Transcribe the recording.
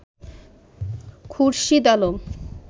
Khurshid Alam